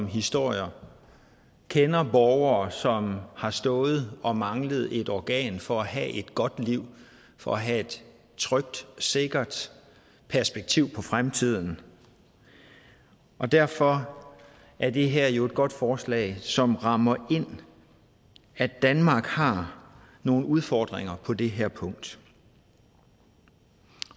historier kender borgere som har stået og manglet et organ for at have et godt liv for at have et trygt og sikkert perspektiv på fremtiden og derfor er det her jo et godt forslag som rammer ind at danmark har nogle udfordringer på det her punkt